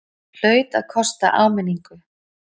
Hlaut að kosta áminningu!